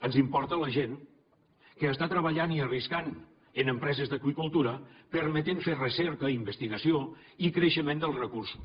ens importa a la gent que està treballant i arriscant en empreses d’aqüicultura permetent fer recerca i investigació i creixement dels recursos